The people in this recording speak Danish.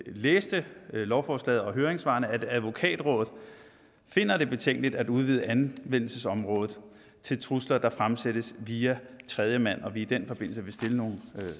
læste lovforslaget og høringssvarene at advokatrådet finder det betænkeligt at udvide anvendelsesområdet til trusler der fremsættes via tredjemand og at vi i den forbindelse vil stille nogle